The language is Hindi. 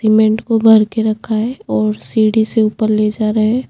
सीमेंट को भर के रखा है और सीढ़ी से ऊपर ले जा रहे है।